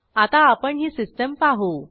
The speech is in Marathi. आता आपण ही सिस्टीम पाहू